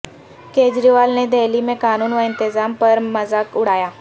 کیجریوال نے دہلی میں قانون و انتظام پرمذاق اڑایا